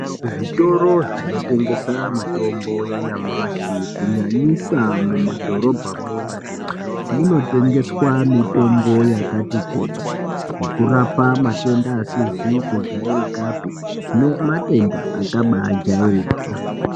Muzvitoro zvinotengesa mitombo yanyamashi kunyanyisa mumadhorobha mwoo munotengeswa mitombo yakati kuti yekurapa matenda asizi kujairika pii nematenda akabayi jairika.